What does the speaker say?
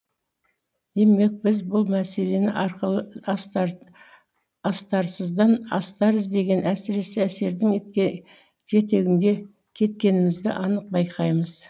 демек біз бұл мәселені арқылы астарсыздан астар іздеген әсіре әсердің жетегінде кеткенімізді анық байқаймыз